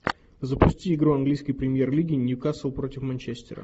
запусти игру английской премьер лиги ньюкасл против манчестера